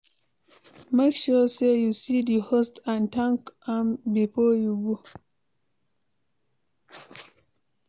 Make sure say you see di host and thank am before you go